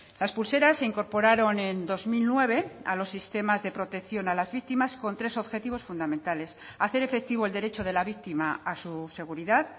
las pulseras se incorporaron en dos mil nueve a los sistemas de protección a las víctimas con tres objetivos fundamentales hacer efectivo el derecho de la víctima a su seguridad